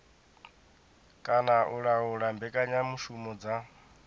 kana u laula mbekanyamushumo dza